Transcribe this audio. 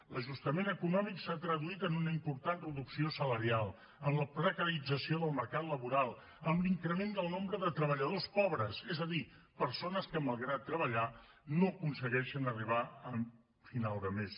l’ajustament econòmic s’ha traduït en una important reducció salarial en la precarització del mercat laboral en l’increment del nombre de treballadors pobres és a dir persones que malgrat treballar no aconsegueixen arribar a final de mes